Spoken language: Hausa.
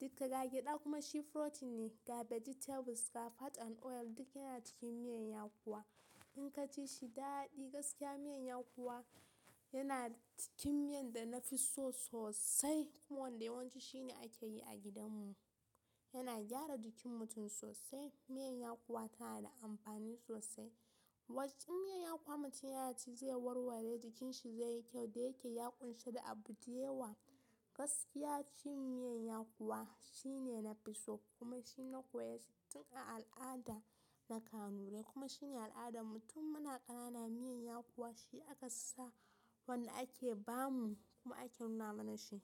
duka ga gyada kuma shi furotin ne, ga vegetables, ga fat an oil duk yana cikin miyan yakkuwa. In ka ci shi daɗi gaskiya miyan yakuwa yana cikin miyan da na fi so sosai. Kuma wanda yawanci shi ne ake yi a gidanmu. Yana gyara jikin mutum sosai. Miyan yakuwa tana da amfani sosai. Wacce in miyan yakkuwa mutum ya ci zai warware jikin shi zai yi kyau, da yake ya ƙunshi da abu da yawa. Gaskiya cin miyan yakkuwa shine na fi so kuma shi na koya tun a al'ada na Kanurai. Kuma shine al'adarmu tun muna ƙanana miyan yakuwa shi aka sa wanda ake ba mu kuma ake nuna mana shi.